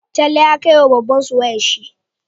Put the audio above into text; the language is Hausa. Talle ya kai wa babbansu wayar shi